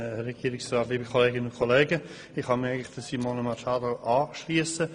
Eigentlich kann ich mich Simone Machado anschliessen.